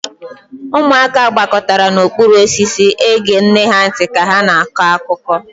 Ụmụaka gbakọtara n'okpuru osisi ege nne ha ntị ka ha na-akọ akụkọ.